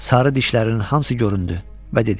Sarı dişlərinin hamısı göründü və dedi: